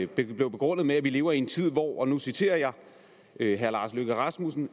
blev begrundet med at vi lever i en tid hvor og nu citerer jeg herre lars løkke rasmussen